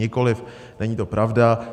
Nikoliv, není to pravda.